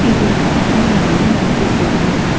இது ஒரு பழமையான இந்து கோவில்.